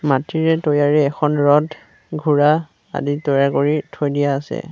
মাটিৰে তৈয়াৰী এখন ৰথ ঘোঁৰা আদি তৈয়াৰ কৰি থৈ দিয়া আছে।